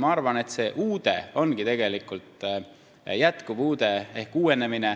Ma arvan, et see jätkuv uude ehk uuenemine,